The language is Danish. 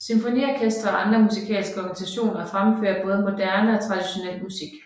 Symfoniorkestre og andre musikalske organisationer fremfører både moderne og traditionel musik